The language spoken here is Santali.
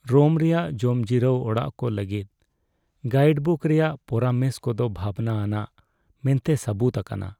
ᱨᱳᱢ ᱨᱮᱭᱟᱜ ᱡᱚᱢᱡᱤᱨᱟᱹᱣ ᱚᱲᱟᱜ ᱠᱚ ᱞᱟᱹᱜᱤᱫ ᱜᱟᱭᱤᱰᱵᱩᱠ ᱨᱮᱭᱟᱜ ᱯᱚᱨᱟᱢᱮᱥ ᱠᱚᱫᱚ ᱵᱷᱟᱵᱱᱟ ᱟᱱᱟᱜ ᱢᱮᱱᱛᱮ ᱥᱟᱹᱵᱩᱫ ᱟᱠᱟᱱᱟ ᱾